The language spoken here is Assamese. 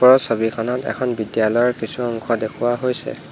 ওপৰৰ ছবিখনত এখন বিদ্যালয়ৰ কিছু অংশ দেখুওৱা হৈছে।